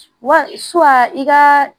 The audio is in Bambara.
Wa i ka